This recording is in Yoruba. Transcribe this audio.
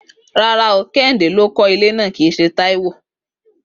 Rárá o, Kehinde ló kó̩ ilé náà kìí s̩e Táíwò